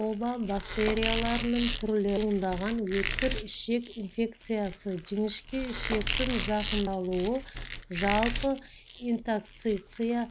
оба бактерияларының түрлерінен туындаған өткір ішек инфекциясы жіңішке ішектің зақымдалуы жалпы интоксикация